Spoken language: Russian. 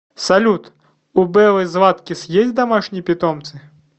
салют у беллы златкис есть домашние питомцы